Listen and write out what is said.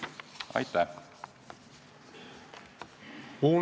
Aitäh!